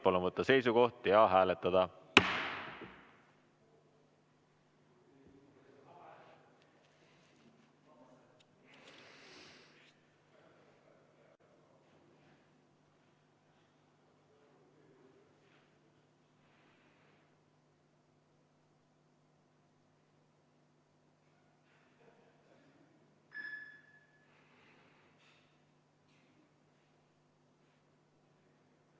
Palun võtta seisukoht ja hääletada!